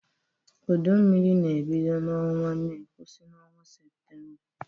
Udu mmiri na-ebido n’ọnwa Mee kwụsị n’ọnwa Seputemba.